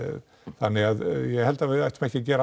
þannig að ég held að við ættum ekki að gera